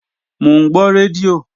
Mò ń gbọ́ rédíò